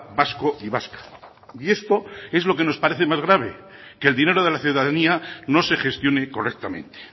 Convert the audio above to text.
vasco y vasca y esto es lo que nos parece más grave que el dinero de la ciudadanía no se gestione correctamente